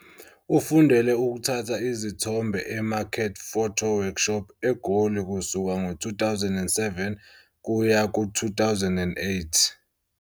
Ufundele ukuthatha izithombe eMarket Photo Workshop eGoli kusuka ngo-2007 kuya ku-2008.